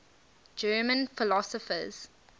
german philosophers